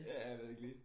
Ja jeg ved ikke lige